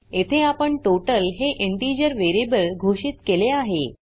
येथे आपण टोटल हे इंटिजर वेरीयेबल घोषित केले आहे